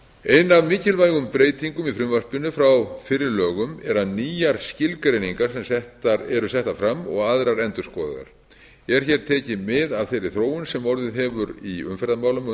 ein af mikilvægum breytingum í frumvarpinu frá fyrri lögum er að nýjar skilgreiningar eru settar fram og aðrar endurskoðaðar er hér tekið mið af þeirri þróun sem orðið hefur í umferðarmálum á